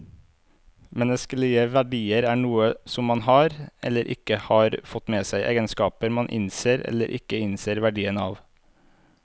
Menneskelige verdier er noe som man har, eller ikke har fått med seg, egenskaper man innser eller ikke innser verdien av.